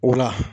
O la